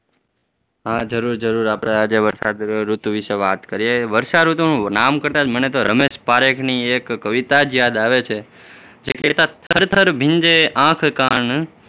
હમ જરૂર જરૂર આપણે આજે વર્ષાઋતુ વિષે વાત કરીએ, વર્ષાઋતુનુ નામ કરતા જ મને તો રમેશ પારીખની એક કવિતા જ યાદ આવે છે થરથર ભીંજે આંખ-કાન